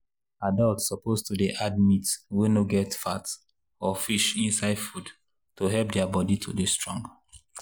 adults suppose dey add meat wey no get fat or fish inside food to help their body to dey strong.